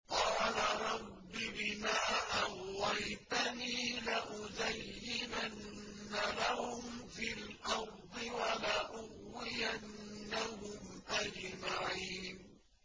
قَالَ رَبِّ بِمَا أَغْوَيْتَنِي لَأُزَيِّنَنَّ لَهُمْ فِي الْأَرْضِ وَلَأُغْوِيَنَّهُمْ أَجْمَعِينَ